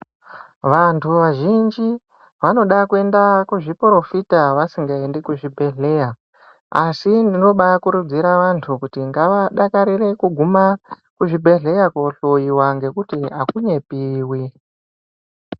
Vantu vazhinji vanoda kuenda kuzviporofita vasingaendi kuzvibhedhlera asi tinobakurudzira antu kuti ngavadakarire kuguma kuzvibhedhlera kohloiwa ngekuti akunyepiwi.